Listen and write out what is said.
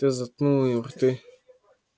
ты заткнул им рты